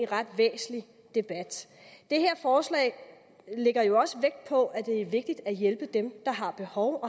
ret væsentlig debat det her forslag lægger jo også vægt på at det er vigtigt at hjælpe dem der har behov